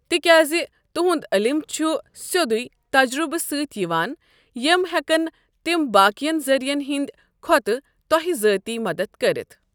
تِکیازِ تِہند علم چُھ سٮ۪ودُیوے تَجرُبہٕ سۭتۍ یِوان، یِم ہٮ۪کَن تِم باکِیَن ذرِین ہِنٛدۍ کھوتہٕ توہہِ ذٲتی مدتھ كرِتھ ۔